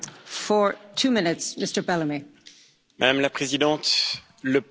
Madame la Présidente, le Parlement n'accepte pas cet accord.